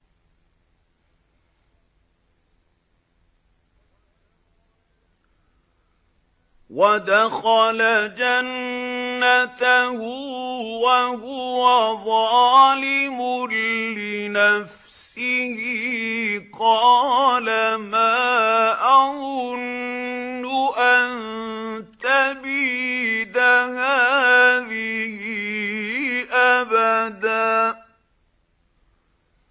وَدَخَلَ جَنَّتَهُ وَهُوَ ظَالِمٌ لِّنَفْسِهِ قَالَ مَا أَظُنُّ أَن تَبِيدَ هَٰذِهِ أَبَدًا